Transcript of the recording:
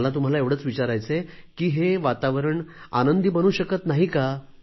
मला तुम्हाला एवढेच विचारायचे आहे की हे वातावारण आनंदी बनू शकत नाही का